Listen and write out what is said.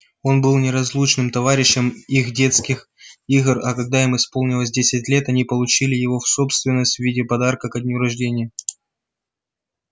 он был неразлучным товарищем их детских игр а когда им исполнилось десять лет они получили его в собственность в виде подарка ко дню рождения